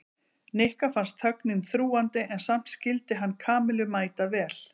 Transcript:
Nikka fannst þögnin þrúgandi en samt skyldi hann Kamillu mæta vel.